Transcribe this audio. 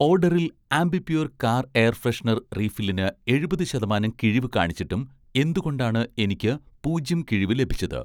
ഓഡറിൽ 'Ambi Pur‍' car air freshener റീഫില്ലിന് എഴുപത് ശതമാനം കിഴിവ് കാണിച്ചിട്ടും എന്തുകൊണ്ടാണ് എനിക്ക് പൂജ്യം കിഴിവ് ലഭിച്ചത്?